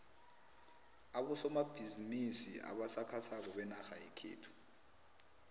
abosomabhizimisi abasakhasako benarha yekhethu